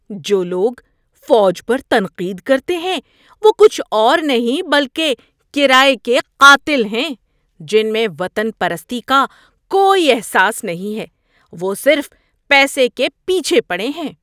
جو لوگ فوج پر تنقید کرتے ہیں وہ کچھ اور نہیں بلکہ کرایے کے قاتل ہیں جن میں وطن پرستی کا کوئی احساس نہیں ہے۔ وہ صرف پیسے کے پیچھے پڑے ہیں۔